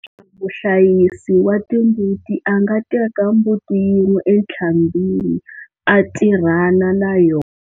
Muhlayisi wa timbuti a nga teka mbuti yin'we entlhambhini a tirhana na yona.